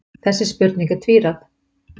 Þessi spurning er tvíræð.